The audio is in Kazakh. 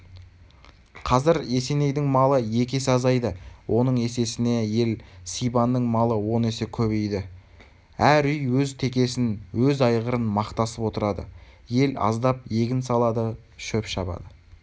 қазір есенейдің малы екі есе азайды оның есесіне ел сибанның малы он есе көбейді әр үй өз текесін өз айғырын мақтасып отырады ел аздап егін салады шеп шабады